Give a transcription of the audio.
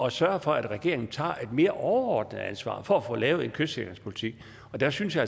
at sørge for at regeringen tager et mere overordnet ansvar for få lavet en kystsikringspolitik og der synes jeg